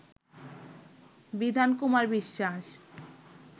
বিধান কুমার বিশ্বাস